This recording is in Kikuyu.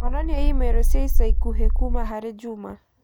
onania i-mīrū cia ica ikuhĩ kũũma harĩ Juma